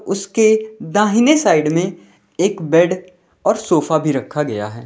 उसके दाहिने साइड में एक बेड और सोफा भी रखा गया है।